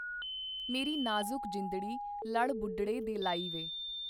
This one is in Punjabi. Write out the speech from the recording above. ਮੇਰੀ ਨਾਜ਼ੁਕ ਜਿੰਦੜੀ ਲੜ ਬੁਢੜੇ ਦੇ ਲਾਈ ਵੇ।